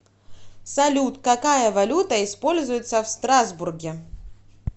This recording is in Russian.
салют какая валюта используется в страсбурге